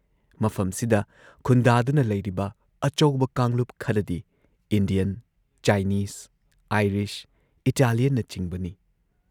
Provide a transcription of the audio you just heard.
ꯃꯐꯝꯁꯤꯗ ꯈꯨꯟꯗꯥꯗꯨꯅ ꯂꯩꯔꯤꯕ ꯑꯆꯧꯕ ꯀꯥꯡꯂꯨꯞ ꯈꯔꯗꯤ ꯏꯟꯗꯤꯌꯟ, ꯆꯥꯏꯅꯤꯁ, ꯑꯥꯏꯔꯤꯁ, ꯏꯇꯥꯂꯤꯌꯟꯅꯆꯤꯡꯕꯅꯤ ꯫